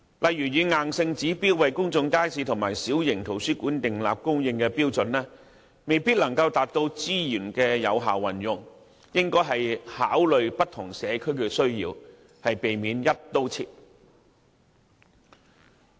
例如硬性就開設公眾街市和小型圖書館訂立指標，未必能夠達到資源有效運用，應考慮不同社區的需要，避免"一刀切"。